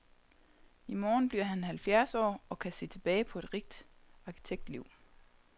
I morgen bliver han halvfjerds år og kan se tilbage på et rigt arkitektliv.